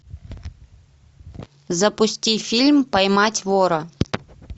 запусти фильм поймать вора